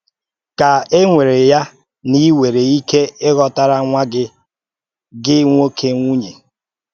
Kà e wèrè ya na ì nwèrè ike ị̀hòtárà nwá gị gị nwóké nwúnye